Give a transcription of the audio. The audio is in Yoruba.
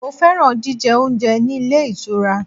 Mo fẹ́ràn jíjẹ oúnjẹ ní ilé ìtura.